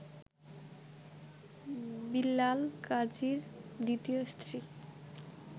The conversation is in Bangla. বিল্লাল গাজীর দ্বিতীয় স্ত্রী